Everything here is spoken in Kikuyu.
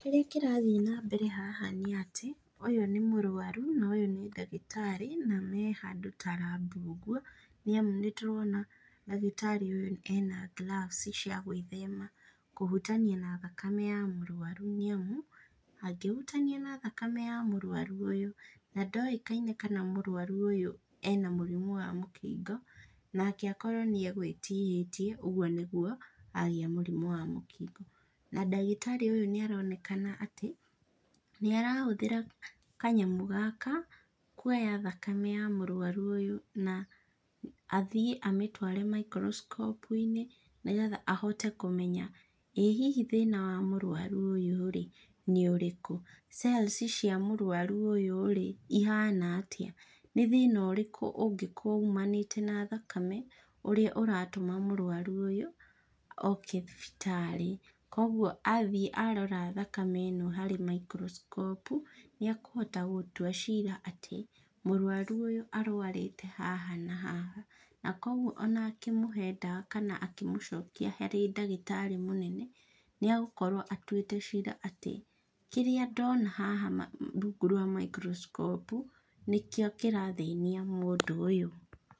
Kĩrĩa kĩrathiĩ na mbere haha nĩ atĩ, ũyũ nĩ mũrũaru, na ũyũ nĩ ndagĩtarĩ, na me handũ ta lab ũguo, nĩ amu nĩ tũrona ndagĩtarĩ ũyũ ena gloves cia gwĩthema kũhutania na thakame ya mũrũaru nĩ amu, angĩhutania na thakame ya mũrũaru ũyũ na ndoĩkaine kana mũrũaru ũyũ ena mũrimũ wa mũkingo nake akorwo nĩ agwĩtihĩtie, ũguo nĩguo agĩĩa mũrimũ wa mũkingo. Na ndagĩtarĩ ũyũ nĩ aronekana atĩ nĩ arahũthĩra kanyamũ gaka kwoya thakame ya mũrũaru ũyũ na athiĩ amĩtware microscope inĩ, nĩgetha ahote kũmenya ĩĩ hihi thĩna wa mũrwaru ũyũ rĩ nĩ ũrĩkũ? cells cia mũrũaru ũyũ ihana atĩa? Nĩ thĩna ũrĩkũ ũngĩkorwo umanĩte na thakame ũrĩa ũratũma mũrũaru ũyũ oke thibitarĩ? Koguo athiĩ arora thakame ĩno harĩ microscope nĩ akohata gũtua cira atĩ, mũrũaru ũyũ arwarĩte haha na haha na kwoguo ona ngĩmũhe dawa kana akĩmũcokia harĩ ndagĩtarĩ mũnene nĩ agũkorwo atuĩte cira atĩ, kĩrĩa ndona haha rungu rwa microsacope nĩ kĩo kĩrathĩnia mũndũ ũyũ.